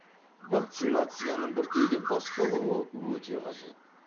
вакцинацияның біртіндеп басталуы өте қажет